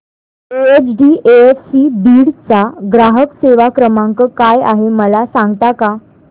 HDFC Beed चा ग्राहक सेवा क्रमांक काय आहे मला सांगता का